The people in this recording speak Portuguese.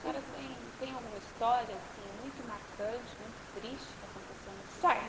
Senhora tem tem alguma história, assim, muito marcante, muito triste que aconteceu no hospital?